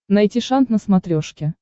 найти шант на смотрешке